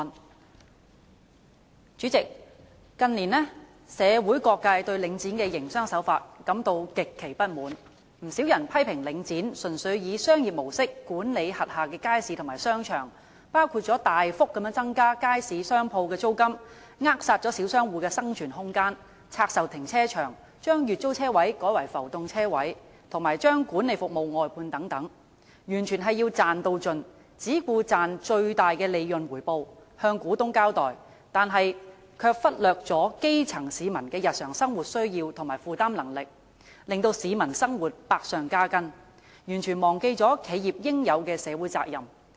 代理主席，近年社會各界對領展房地產投資信託基金的營商手法感到極其不滿，不少人批評領展純粹以商業模式管理轄下街市和商場，包括大幅增加街市商鋪的租金，扼殺小商戶的生存空間；拆售停車場，將月租車位改為浮動車位，以及將管理服務外判等，完全是要"賺到盡"，只顧賺取最大的利潤回報，向股東交代，但卻忽略基層市民的日常生活需要和負擔能力，令市民生活百上加斤，完全忘記企業應有的社會責任。